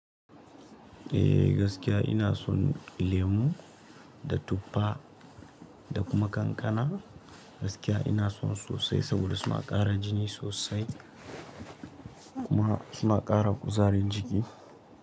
Eh gaskiya ina son lemu da tuffa da kuma kankana. Gaskiya ina son sosai saboda suna ƙara jini sosai kuma suna ƙara kuzarin jiki.